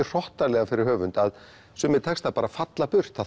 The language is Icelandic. hrottalegar fyrir höfund að sumir textar falla burt það